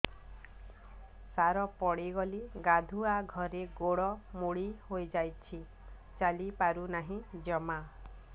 ସାର ପଡ଼ିଗଲି ଗାଧୁଆଘରେ ଗୋଡ ମୋଡି ହେଇଯାଇଛି ଚାଲିପାରୁ ନାହିଁ ଜମା